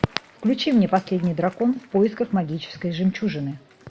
включи мне последний дракон в поисках магической жемчужины